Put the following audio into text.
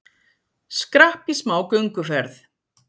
Skrapp í smá gönguferð